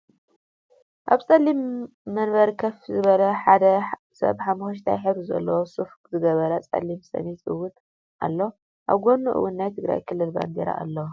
ኣብ ፀሊም ወንበር ከፍ ዝበለ ሓደ ሰብ ሓሞክሽታይ ሕብሪ ዘለዎ ሱፍ ዝገበረ ፀለም ሸሚዝ እውን ኣሎ። ኣብ ጎኑ እውን ናይ ትግራይ ክልል ባንዴራ ኣሎ።